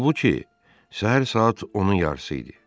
Halbuki səhər saat 10-un yarısı idi.